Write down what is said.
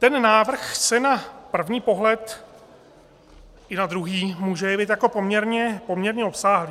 Ten návrh se na první pohled i na druhý může jevit jako poměrně obsáhlý.